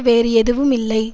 வேறு எதுவும் இல்லை